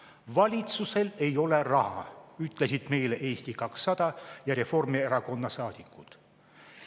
Valitsusel ei ole raha, ütlesid meile Eesti 200 ja Reformierakonna saadikud.